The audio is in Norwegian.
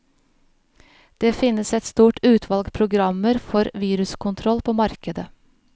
Det finnes et stort utvalg programmer for viruskontroll på markedet.